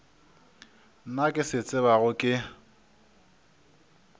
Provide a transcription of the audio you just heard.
nna ke se tsebago ke